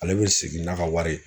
Ale bɛ segin n'a ka wari ye.